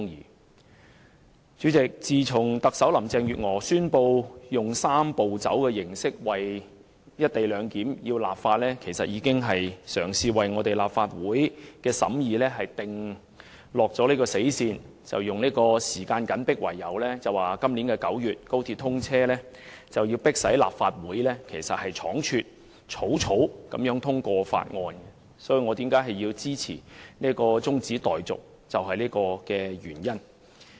代理主席，自從特首林鄭月娥宣布以"三步走"形式為"一地兩檢"立法，便已為立法會的審議訂下死線，以時間緊迫、高鐵要在今年9月通車為由，迫使立法會倉卒通過《條例草案》，這便是我支持中止待續的原因。